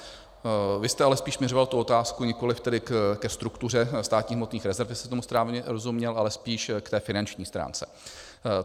Vy jste ale spíš směřoval tu otázku nikoliv tedy ke struktuře státních hmotných rezerv, jestli jsem tomu správně rozuměl, ale spíš k té finanční stránce.